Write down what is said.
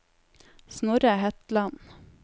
Snorre Hetland